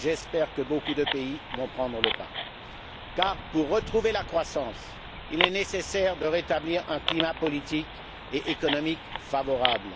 J'espère que beaucoup de pays vont vous emboîter le pas car, pour retrouver la croissance, il est nécessaire de rétablir un climat politique et économique favorable.